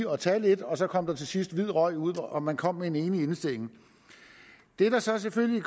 og tage lidt og så kom der til sidst hvid røg ud og man kom med en enig indstilling det der så selvfølgelig